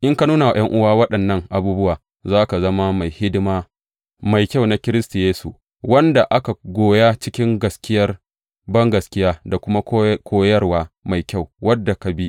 In ka nuna wa ’yan’uwa waɗannan abubuwa, za ka zama mai hidima mai kyau na Kiristi Yesu, wanda aka goya cikin gaskiyar bangaskiya da kuma koyarwa mai kyau wadda ka bi.